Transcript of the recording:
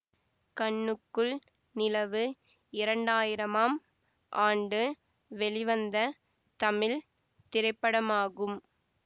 கண்ணுக்குள் நிலவு இரண்டாயிரமாம் ஆண்டு வெளிவந்த தமிழ் திரைப்படமாகும்